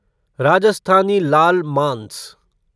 राजस्थानी लाल मांस